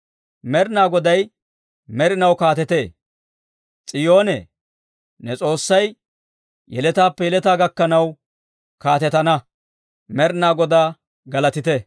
Med'inaa Goday med'inaw kaatetee. S'iyoonee, ne S'oossay, yeletaappe yeletaa gakkanaw kaatetana. Med'inaa Godaa galatite!